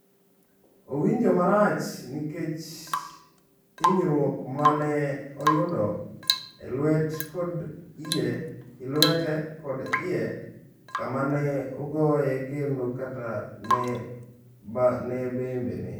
Owinjo marach nikech hinyruok ma ne oyudo e lwete kod e iye kama ne ogoye kendo kata e bembene.